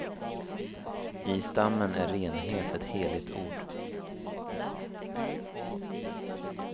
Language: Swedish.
I stammen är renhet ett heligt ord.